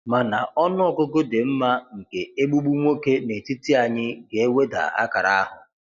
Mana ọnụ ọgụgụ dị mma nke 'Egbugbu' nwoke n'etiti anyị ga-eweda akara ahụ.